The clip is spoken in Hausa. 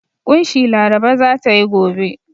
ƙunshi Laraba za ta yi gobe.